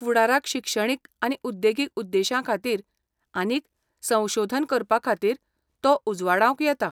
फुडाराक शिक्षणीक आनी उद्देगीक उद्देश्यांखातीर आनीक संशोधन करपखातीर तो उजवाडावंक येता.